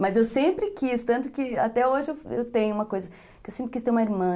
Mas eu sempre quis, tanto que até hoje eu tenho uma coisa, que eu sempre quis ter uma irmã.